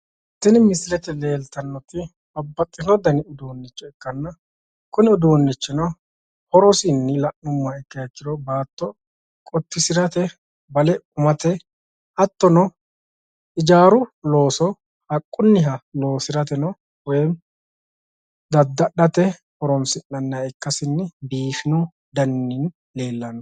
Tini misilete babbaxino dani uduunicho ikkanna horosi baatto loosirate hattono hijaaru loosira horonsi'nanihanna biifinoha ikkasi leellishano